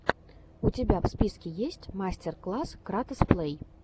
у тебя в списке есть мастер класс кратос плэй